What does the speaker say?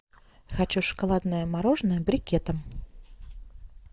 хочу шоколадное мороженое брикетом